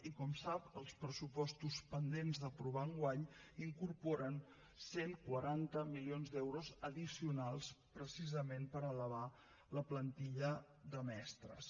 i com sap els pressupostos pendents d’aprovar enguany incorporen cent i quaranta milions d’euros addicionals precisament per elevar la plantilla de mestres